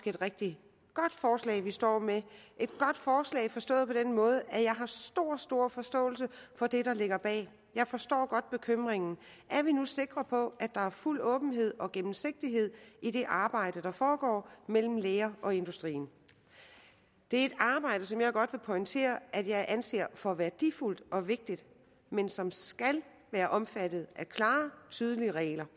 et rigtig godt forslag vi står med et godt forslag forstået på den måde at jeg har stor stor forståelse for det der ligger bag jeg forstår godt bekymringen er vi nu sikre på at der er fuld åbenhed og gennemsigtighed i det arbejde der foregår mellem lægerne og industrien det er et arbejde som jeg godt vil pointere at jeg anser for værdifuldt og vigtigt men som skal være omfattet af klare og tydelige regler